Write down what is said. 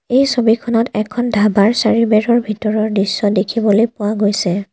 এই ছবিখনত এখন ধাবাৰ চাৰিবেৰৰ ভিতৰৰ দৃশ্য দেখিবলৈ পোৱা গৈছে।